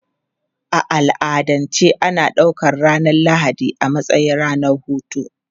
A al'adance ana ɗaukar ranar Lahadi a matsayin ranar hutu.